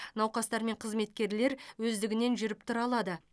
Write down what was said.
науқастар мен қызметкерлер өздігінен жүріп тұра алады